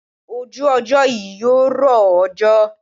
Ojú ọjọ́ yí yóò rọ òjò.